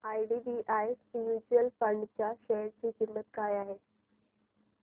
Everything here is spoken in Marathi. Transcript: आयडीबीआय म्यूचुअल फंड च्या शेअर ची किंमत काय आहे